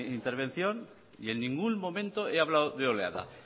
mi intervención y en ningún momento he hablado de oleada